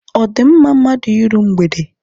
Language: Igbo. Ọ di mma mmadụ iru mgbede?